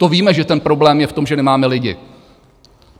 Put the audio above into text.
To víme, že ten problém je v tom, že nemáme lidi.